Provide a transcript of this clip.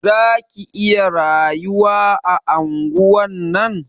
Za ki iya rayuwa a anguwan nan?